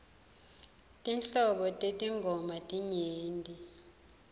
tinhlobo tetingoma tinyenti